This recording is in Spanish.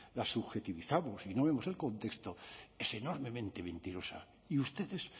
las subjetivizamos y no vemos el contexto es enormemente mentirosa y ustedes